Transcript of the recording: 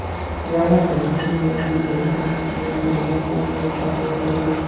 प्यार दर्शाने वाले लोगों में तनाव कम होता है और